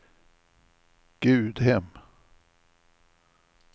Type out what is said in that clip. Gudhem